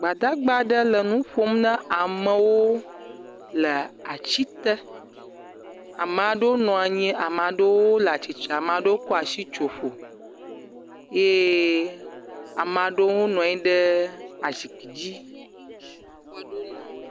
Gbadagba aɖe le nu ƒom na ame aɖewo le ati te, ame aɖewo nɔ anyi ame aɖewo le atsitre, ame aɖewo kɔ asi tso ƒo ye ame aɖewo nɔ anyi ɖe azikpui dzi. Maɖewo le.